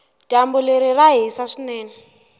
dyambu leri ra hisa swinene